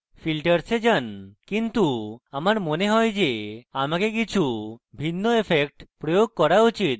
তাই filters এ যান কিন্তু আমার মনে হয় যে আমাকে কিছু ভিন্ন effect প্রয়োগ করা উচিত